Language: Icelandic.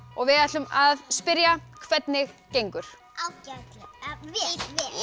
og við ætlum að spyrja hvernig gengur ágætlega vel